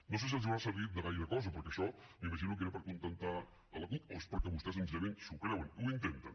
no sé si els haurà servit de gaire cosa perquè això m’imagino que era per acontentar la cup o és perquè vostès senzillament s’ho creuen ho intenten